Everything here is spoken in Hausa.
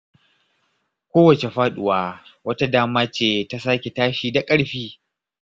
Kowace faduwa wata dama ce ta sake tashi da ƙarfi.